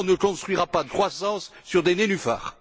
on ne construira pas de croissance sur des nénuphars.